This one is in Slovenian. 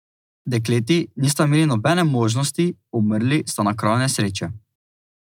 Dekleti nista imeli nobene možnosti, umrli sta na kraju nesreče.